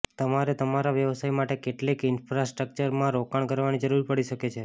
તમારે તમારા વ્યવસાય માટે કેટલીક ઇન્ફ્રાસ્ટ્રક્ચરમાં રોકાણ કરવાની જરૂર પડી શકે છે